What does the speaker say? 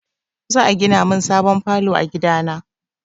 Za a gina min sabon falo a gida na.